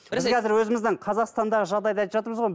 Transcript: біз қазір өзіміздің қазақстандағы жағдайды айтып жатырмыз ғой